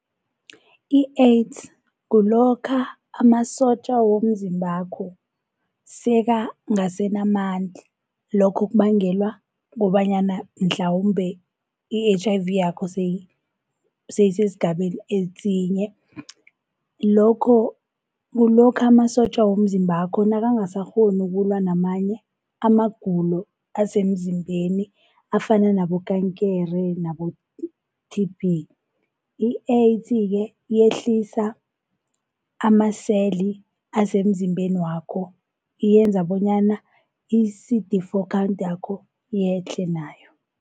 I-AIDS kulokha amasotja womzimbakho sekangasenamandla, lokho kubangelwa kukobanyana mhlawumbe i-H_I_V yakho seyisesigabeni esinye. Lokho kulokha amasotja womzimbakho nakangasakghoni ukulwa namanye amagulo asemzimbeni afana nabo kaankere nabo-T_B. I-AIDS-ke yehlisa amaseli asemzimbeni wakho yenza bonyana i-C_D four count yakho yehle nayo.